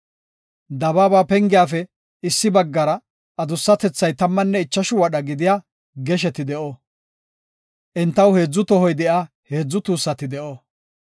Dabaaba pengiyafe issi baggara adussatethay tammanne ichashu wadha gidiya gesheti de7o; entaw heedzu tohoy de7iya heedzu tuussati de7o.